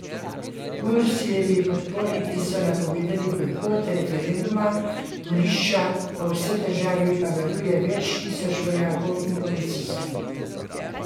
Mursijevi podporniki so napovedali bojkot referenduma, volišča po vsej državi pa varuje več sto tisoč vojakov in policistov.